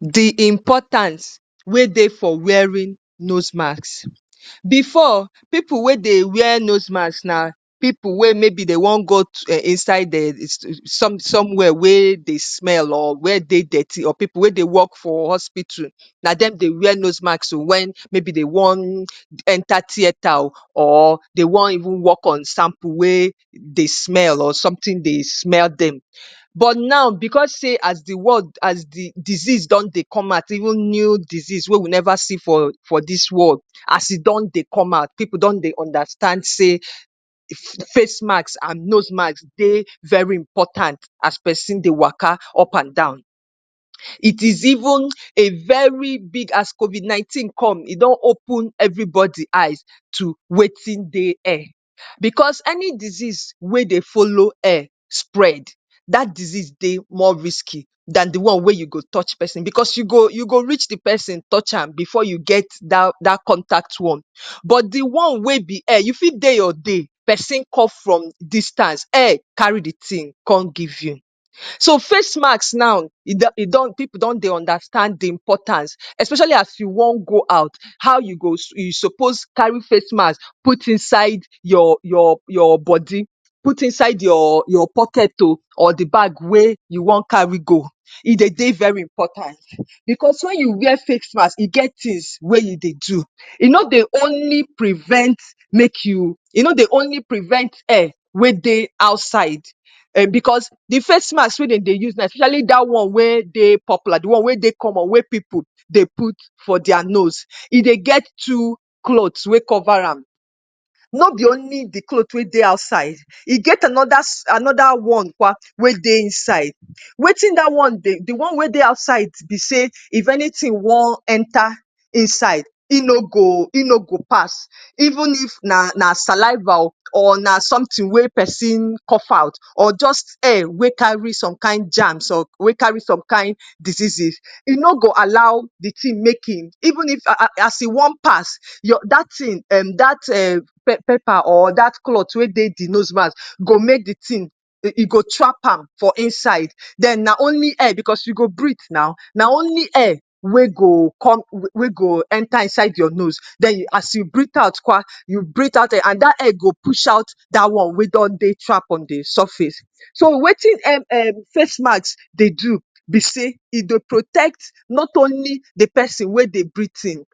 The importance wey dey for wearing nose marks. Before, pipu wey dey wear nose marks na pipu wey maybe they won go inside um some somewhere wey dey smell or where dey dirty or pipu wey dey work for hospital, na dem dey wear nose mask oh. When maybe they wan enter theatre oh or they wan even work on sample wey dey smell or something dey smell dem. But now, because sey as the world as the disease don dey comot out, even new disease wey we neva see for for dis world. As e don dey comot out, pipu don dey understand sey face mask and nose mask dey very important as pesin dey waka up and down. It is even a very big as COVID-19 come, e don open everybody eyes to wetin dey air. Because any disease wey dey follow air spread, dat disease dey more risky dan the one wey you go touch person because you go you go reach the pesin, touch am before you get dat dat contact one. But the one wey be air, you fit dey your dey, person come from distance, air carry the thing con give you. So, face mask now, e do e don pipu don dey understand the importance especially as you wan go out. How you go suppose carry face mask put inside your your your body, put inside your your pocket oh or the bag wey you wan carry go. E dey dey very important. Because when you wear face mask, e get things wey you dey do. E no dey only prevent make you, e no dey only prevent air wey dey outside um because the face mask wey de dey use now, especially dat one wey dey popular, the one wey dey comon, wey pipu dey put for their nos. E dey get two clothes wey cover am. No be only the cloth wey dey outside, e get another another one kwa wey dey inside. Wetin dat one, the one wey dey outside bey sey if anything wan enter inside, e no go e no go pass even if na na saliva oh or na something wey pesin cough out or just air wey carry some kind germs, wey carry some kind diseases, e no go all the thing make e even if as as e wan pass your dat thing um dat um paper or dat cloth wey dey the nose mask go make the thing e e go trap am for inside. Den na only air because you go breathe now, na only air wey go con um wey go enter inside your nose. Den, as you breathe out kwa, you breathe out um and dat air go out dat one wey don dey trap on the surface. So, wetin um face mask dey do be sey, e dey protect not only the pesin wey dey breathe in,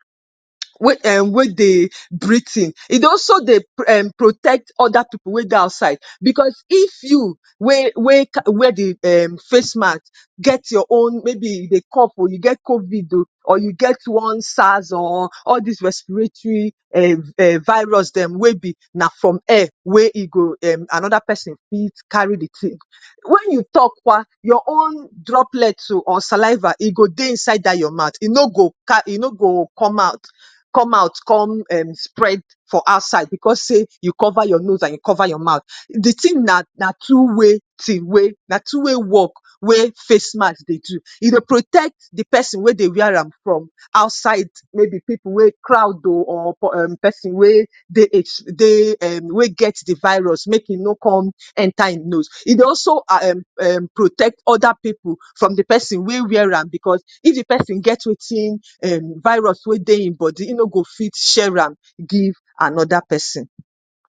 wey um wey dey breathe in, e dey also dey um protect other pipu wey dey outside. Because if you wey wey wear the um face mask, get your own, maybe you dey cough oh, you get COVID or you get one SARS or all des respiratory um virus dem wey be na from air wey e go um another pesin need carry the thing. When you talk kwa, your own droplet oh or saliva, e go dey inside dat your mouth. E no go e no go come out, come out con um spread for outside because say you cover your nose and you cover your mouth. The thing na na two way thing wey na two way walk wey face mask dey do. E dey protect the pesinn wey dey wear am from outside maybe pipu crowd or pesin wey dey um dey wey get the virus. Make e no con enter e nose. E dey also um protect other pipu from the pesin wey wear am because if the pesin get wetin um virus wey dey im body, e no go fit share am give another pesin.